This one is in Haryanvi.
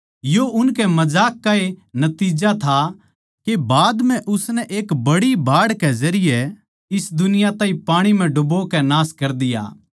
यो उनके मजाक का ए नतिज्जा था के बाद म्ह उसनै एक बड़ी बाढ़ के जरिये इस दुनिया ताहीं पाणी म्ह डूबो कै नाश कर दिया